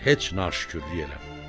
Sən heç naşükürlük eləmə.